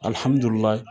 Alihamudulila